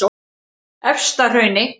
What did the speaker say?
Efstahrauni